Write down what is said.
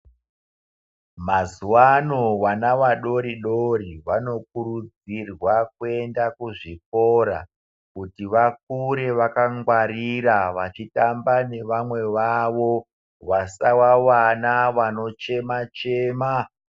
Mazuwa ano vana vadoridori vanokurudzirwa kuenda kuzvikora kuti vakure vakangwarira vachitamba nevamwe vawo vasawa vana vanochemachema.